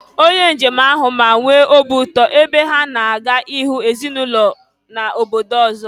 Onye njem ahụ ma nwee obi ụtọ, ebe ha na-aga ịhụ ezinụlọ n’obodo ọzọ